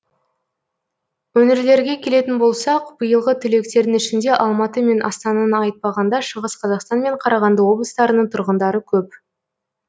өңірлерге келетін болсақ биылғы түлектердің ішінде алматы мен астананы айтпағанда шығыс қазақстан мен қарағанды облыстарының тұрғындары көп